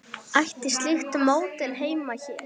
Ætti slíkt módel heima hér?